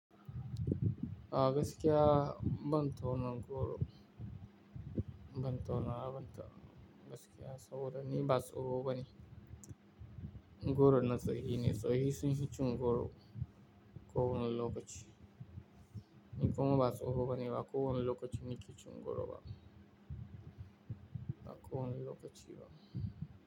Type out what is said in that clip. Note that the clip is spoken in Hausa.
Ah gaskiya ban tauna goro, ban tauna, ban tauna gaskiya saboda ni ba tsoho bane. Goron na tsohi ne, tsohi sin fi cin goro ko wani lokaci. Ni kuma ba tsoho bane ba ko wani lokaci ni ke cin goro ba, ba ko wani lokaci ba.